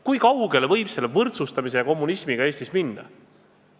Kui kaugele võib võrdsustamise ja kommunismiga Eestis minna?